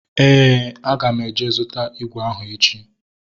Éè, aga m eje zụta ígwè ahụ echi